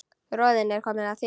Röðin er komin að þér.